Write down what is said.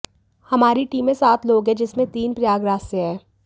हमारी टीम में सात लोग हैं जिसमें तीन प्रयागराज से हैं